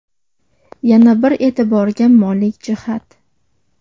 Yana bir e’tiborga molik jihat.